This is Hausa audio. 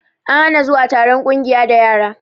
An hana zuwa taron ƙungiya da yara